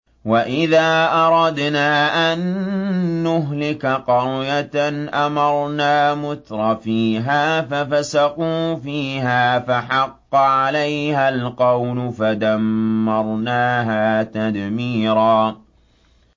وَإِذَا أَرَدْنَا أَن نُّهْلِكَ قَرْيَةً أَمَرْنَا مُتْرَفِيهَا فَفَسَقُوا فِيهَا فَحَقَّ عَلَيْهَا الْقَوْلُ فَدَمَّرْنَاهَا تَدْمِيرًا